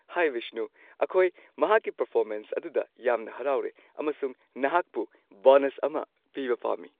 ꯍꯥꯏ ꯕꯤꯁꯅꯨ, ꯑꯩꯈꯣꯏ ꯃꯍꯥꯛꯀꯤ ꯄꯔꯐꯣꯔꯃꯦꯟꯁ ꯑꯗꯨꯗ ꯌꯥꯝꯅ ꯍꯔꯥꯎꯔꯦ ꯑꯃꯁꯨꯡ ꯅꯍꯥꯛꯄꯨ ꯕꯣꯅꯁ ꯑꯃ ꯄꯤꯕ ꯄꯥꯝꯃꯤ꯫